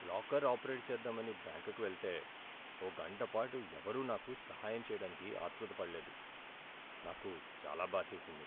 Locker operate చేద్దామని బ్యాంకుకి వెళితే, ఓ గంట పాటు ఎవరూ నాకు సహాయం చేయడానికి ఆత్రుతపడలేదు. నాకు చాలా బాధేసింది.